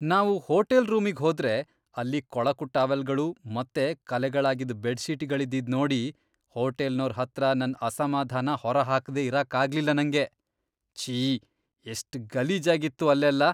ನಾವು ಹೋಟೆಲ್ ರೂಮಿಗ್ ಹೋದ್ರೆ ಅಲ್ಲಿ ಕೊಳಕು ಟವೆಲ್ಗಳು ಮತ್ತೆ ಕಲೆಗಳಾಗಿದ್ ಬೆಡ್ಶೀಟ್ಗಳಿದ್ದಿದ್ ನೋಡಿ ಹೋಟೆಲ್ನೋರ್ ಹತ್ರ ನನ್ ಅಸಮಾಧಾನ ಹೊರಹಾಕ್ದೆ ಇರಕ್ಕಾಗ್ಲಿಲ್ಲ ನಂಗೆ.. ಛೀ, ಎಷ್ಟ್ ಗಲೀಜಾಗಿತ್ತು ಅಲ್ಲೆಲ್ಲ.